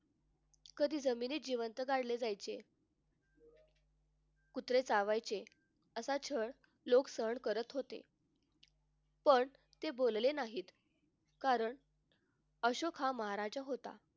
कधी जमिनीत जिवंत गाढले जायचे. कुत्रे चावायचे असा छळ लोक सहन करत होते. पण ते बोलले नाहीत कारण अशोक हा महाराजा होता.